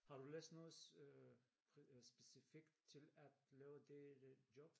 Har du læst noget øh specifikt til at lave det øh job?